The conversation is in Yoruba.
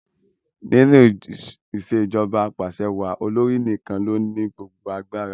Nínú ìṣèjọba apàṣewàá, olórí nìkan ló ní gbogbo agbára.